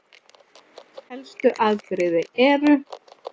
Helstu afbrigði eru